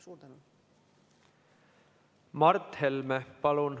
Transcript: Mart Helme, palun!